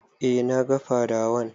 E, na ga fadawan.